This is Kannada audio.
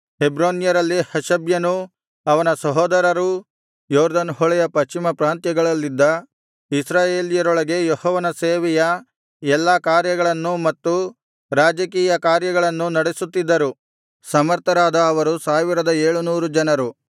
ಹೆಬ್ರೋನ್ಯರಲ್ಲಿ ಹಷಬ್ಯನೂ ಅವನ ಸಹೋದರರೂ ಯೊರ್ದನ್ ಹೊಳೆಯ ಪಶ್ಚಿಮ ಪ್ರಾಂತ್ಯಗಳಲ್ಲಿದ್ದ ಇಸ್ರಾಯೇಲ್ಯರೊಳಗೆ ಯೆಹೋವನ ಸೇವೆಯ ಎಲ್ಲಾ ಕಾರ್ಯಗಳನ್ನೂ ಮತ್ತು ರಾಜಕೀಯ ಕಾರ್ಯಗಳನ್ನೂ ನಡೆಸುತ್ತಿದ್ದರು ಸಮರ್ಥರಾದ ಅವರು ಸಾವಿರದ ಏಳುನೂರು ಜನರು